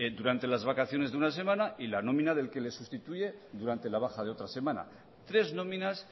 durante las vacaciones de una semana y la nómina del que le sustituye durante la baja de otra semana tres nóminas